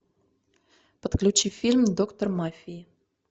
подключи фильм доктор мафии